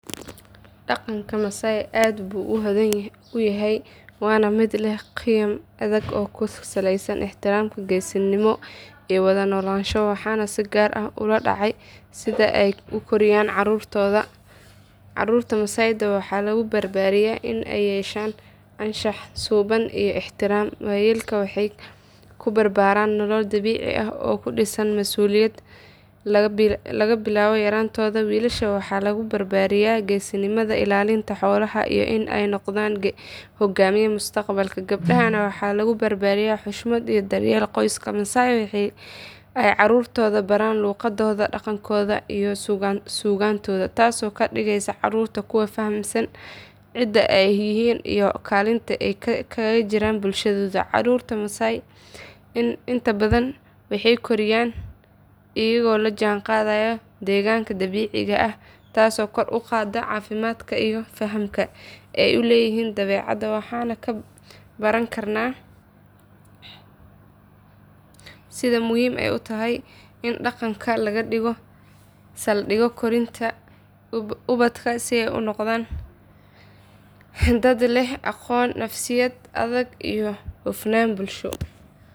Dhaqanka masaai aad buu u hodan u yahay waana mid leh qiyam adag oo ku saleysan ixtiraam geesinimo iyo wada noolaansho waxaan si gaar ah ula dhacay sida ay u koriyaan carruurtooda carruurta masaai waxaa lagu barbaariyaa in ay yeeshaan anshax suuban iyo ixtiraam waayeelka waxay ku barbaaraan nolol dabiici ah oo ku dhisan mas’uuliyad laga bilaabo yaraantooda wiilasha waxaa lagu barbaariyaa geesinimada ilaalinta xoolaha iyo in ay noqdaan hogaamiye mustaqbalka gabdhahana waxaa lagu barayaa xushmad iyo daryeelka qoyska masaai waxa ay carruurtooda baraan luqadooda dhaqankooda iyo suugaantooda taasoo ka dhigaysa carruurta kuwo fahamsan cidda ay yihiin iyo kaalinta ay kaga jiraan bulshadooda carruurta masaai inta badan waxay korayaan iyagoo la jaanqaadaya deegaanka dabiiciga ah taasoo kor u qaadda caafimaadkooda iyo fahamka ay u leeyihiin dabeecadda waxaan ka baran karnaa sida muhiim u tahay in dhaqanka laga dhigo saldhig korinta ubadka si ay u noqdaan dad leh aqoon nafsiyad adag iyo hufnaan bulsho.